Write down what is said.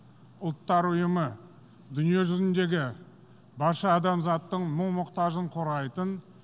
ұлттар ұйымы дүниежүзіндегі барша адамзаттың мұң мұқтажын қорғайтын